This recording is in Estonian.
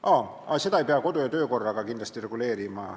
Aa, seda ei pea kindlasti kodu- ja töökorraga reguleerima.